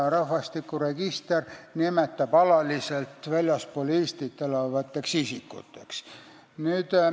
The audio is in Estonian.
Rahvastikuregistris nimetatakse neid alaliselt väljaspool Eestit elavateks isikuteks.